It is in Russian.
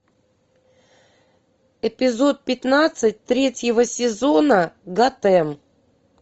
эпизод пятнадцать третьего сезона готэм